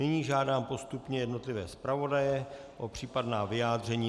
Nyní žádám postupně jednotlivé zpravodaje o případná vyjádření.